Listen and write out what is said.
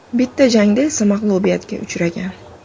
Bitta jangda esa mag‘lubiyatga uchragan.